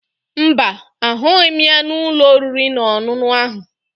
Mba, ahụghị m ya n'ụlọ oriri na ọṅụṅụ ahụ